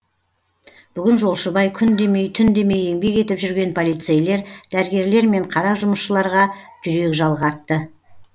бүгін жолшыбай күн демей түн демей еңбек етіп жүрген полицейлер дәрігерлер мен қара жұмысшыларға жүрек жалғатты